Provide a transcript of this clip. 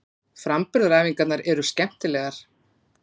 Framburðaræfingarnar eru skemmtilegar.